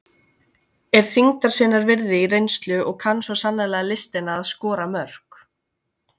Er þyngdar sinnar virði í reynslu og kann svo sannarlega listina að skora mörk.